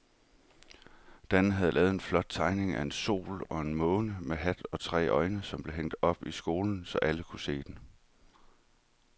Dan havde lavet en flot tegning af en sol og en måne med hat og tre øjne, som blev hængt op i skolen, så alle kunne se den.